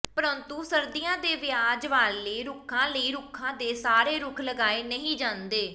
ਪਰੰਤੂ ਸਰਦੀਆਂ ਦੇ ਵਿਆਜ ਵਾਲੇ ਰੁੱਖਾਂ ਲਈ ਰੁੱਖਾਂ ਦੇ ਸਾਰੇ ਰੁੱਖ ਲਗਾਏ ਨਹੀਂ ਜਾਂਦੇ